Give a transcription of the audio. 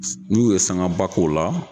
N'u ye sanga ba k'ola.